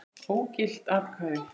Ógild atkvæði